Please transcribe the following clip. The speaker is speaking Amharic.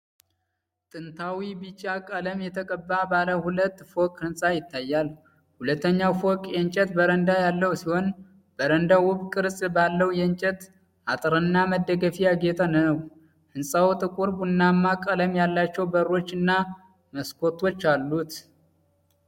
ጥንታዊ ቢጫ ቀለም የተቀባ ባለ ሁለት ፎቅ ሕንፃ ይታያል። ሁለተኛው ፎቅ የእንጨት በረንዳ ያለው ሲሆን፣ በረንዳው ውብ ቅርጽ ባለው የእንጨት አጥርና መደገፊያ ያጌጠ ነው። ሕንፃው ጥቁር ቡናማ ቀለም ያላቸው በሮች እና መስኮቶች አሉት።